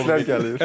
Təkliflər gəlir.